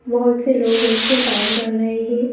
बहुत से लो बैठ के काम कर रहे हैं।